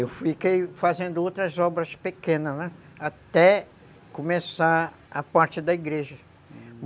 Eu fiquei fazendo outras obras pequenas, né, até começar a parte da igreja.